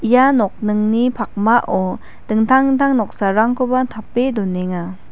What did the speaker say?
ia nokningni pakmao dingtang dingtang noksarangkoba tape donenga.